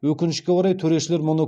өкінішке орай төрешілер мұны